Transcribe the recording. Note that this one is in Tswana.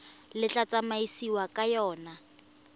le tla tsamaisiwang ka yona